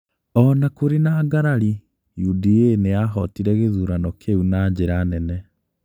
O na kũrĩ na ngarari, UDA nĩ yahotire gĩthurano kĩu na njĩra nene.